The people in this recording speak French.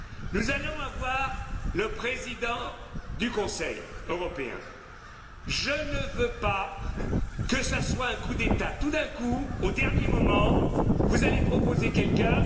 Nous allons avoir un président du Conseil européen. Je ne veux pas que ce soit un coup d'État. Tout d'un coup, au dernier moment, vous allez proposer quelqu'un.